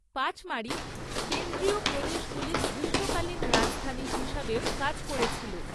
পাচমাড়ি কেন্দ্রীয় প্রদেশগুলির গ্রীষ্মকালীন রাজধানী হিসাবেও কাজ করেছিল।